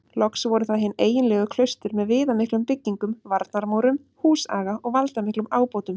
Loks voru það hin eiginlegu klaustur með viðamiklum byggingum, varnarmúrum, húsaga og valdamiklum ábótum.